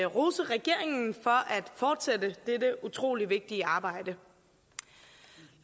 rose regeringen for at fortsætte dette utrolig vigtige arbejde